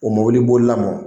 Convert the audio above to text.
O mobili bolila mɔ.